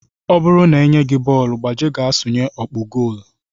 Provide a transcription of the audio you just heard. Ọ bụrụ na e nye gị bọọlụ, gbaje ga sụnye ọkpụ gool!